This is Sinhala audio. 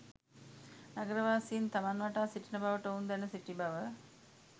නගරවාසීන් තමන් වටා සිටින බවට ඔවුන් දැන සිටි බව